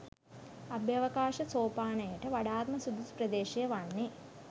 අභ්‍යවකාශ සෝපානයට වඩාත්ම සුදුසු ප්‍රදේශය වන්නේ